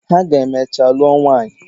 Ha ga emechaa lụọ nwanyị.